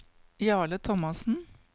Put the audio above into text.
Jarle Thomassen